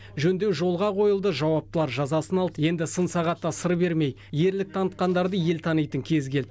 жөндеу жолға қойылды жауаптылар жазасын алды енді сын сағатта сыр бермей ерлік танытқандарды ел танитын кез келді